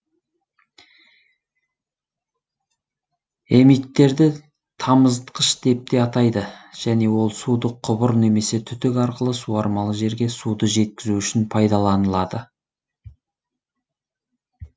эмиттерді тамызытқыш деп те атайды және ол суды құбыр немесе түтік арқылы суармалы жерге суды жеткізу үшін пайдаланылады